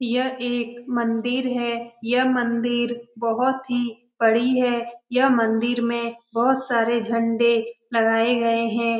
यह एक मंदिर है। यह मंदिर बहुत ही बड़ी है। यह मंदिर में बहुत सारे झंडे लगाये गए हैं।